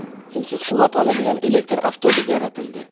Simsiz quvvat oladigan elektr avtobus yaratildi.